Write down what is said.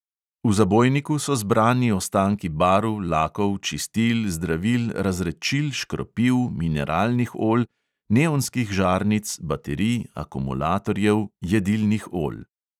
V zabojniku so zbrani ostanki barv, lakov, čistil, zdravil, razredčil, škropiv, mineralnih olj, neonskih žarnic, baterij, akumulatorjev, jedilnih olj …